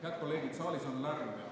Head kolleegid, saalis on lärm.